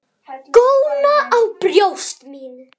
Góna á brjóst mín.